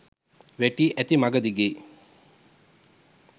වැටී ඇති මඟ දිගේ